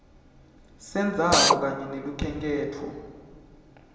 sendzawo kanye nelukhenkhetfo